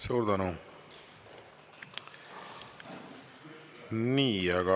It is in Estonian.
Suur tänu!